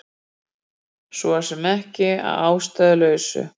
Svo sem ekki að ástæðulausu